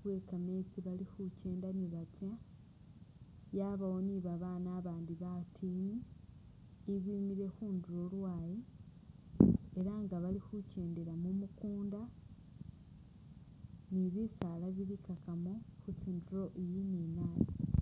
bwe kameetsi bali khukyenda nibatsa , yabawo ni babaana abandi batiini ibimile khundulo lwayi ela nga bali khukyendela mumukunda ni bisaala bili kakamo khutsindulo iyi ni nayi .